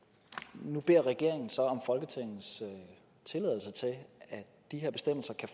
nu beder regeringen så om folketingets tilladelse til at de her bestemmelser kan